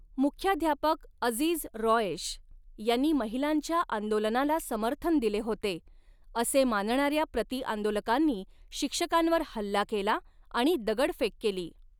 मुख्याध्यापक अझीझ रॉयेश यांनी महिलांच्या आंदोलनाला समर्थन दिले होते असे मानणाऱ्या प्रतिआंदोलकांनी शिक्षकांवर हल्ला केला आणि दगडफेक केली.